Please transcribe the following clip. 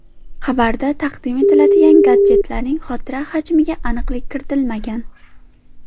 Xabarda taqdim etiladigan gadjetlarning xotira hajmiga aniqlik kiritilmagan.